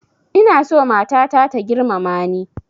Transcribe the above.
Ina so matata ta girmama ni